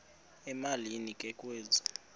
emalini ke kwezi